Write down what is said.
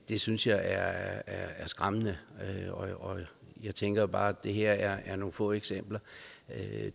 det synes jeg er skræmmende og jeg tænker bare at det her er nogle få eksempler men